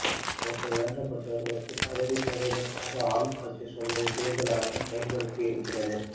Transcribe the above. தங்களுக்கு வேண்டப்பட்டவர்களுக்குப் பதவி தருவதற்காக ஆளும் கட்சி சொல்வதை தேர்தல் ஆணையம் செயல்படுத்தி இருக்கிறது